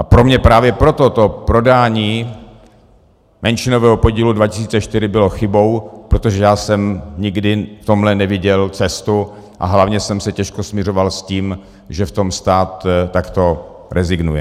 A pro mě právě proto to prodání menšinového podílu 2004 bylo chybou, protože já jsem nikdy v tomhle neviděl cestu a hlavně jsem se těžko smiřoval s tím, že v tom stát takto rezignuje.